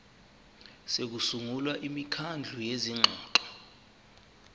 sokusungula imikhandlu yezingxoxo